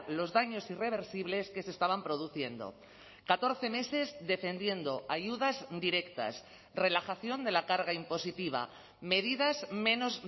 los daños irreversibles que se estaban produciendo catorce meses defendiendo ayudas directas relajación de la carga impositiva medidas menos